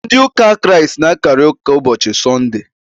Ndị ụka Kraịst na-akakarị ụka ụbọchị sọndee.